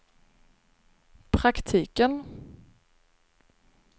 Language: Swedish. praktiken